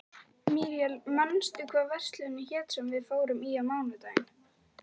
Míríel, manstu hvað verslunin hét sem við fórum í á mánudaginn?